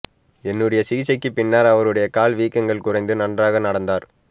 என்னுடைய சிகிச்சைக்கு பின்னர் அவருடைய கால் வீக்கங்கள் குறைந்து நன்றாக நடந்தார்